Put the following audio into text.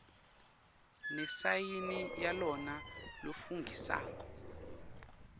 nesayini yalona lofungisako